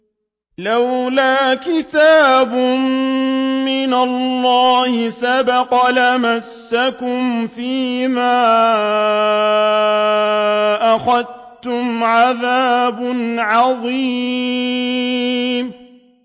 لَّوْلَا كِتَابٌ مِّنَ اللَّهِ سَبَقَ لَمَسَّكُمْ فِيمَا أَخَذْتُمْ عَذَابٌ عَظِيمٌ